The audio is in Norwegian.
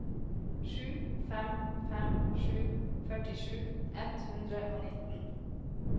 sju fem fem sju førtisju ett hundre og nitten